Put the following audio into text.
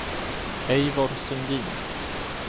Eivor Sundin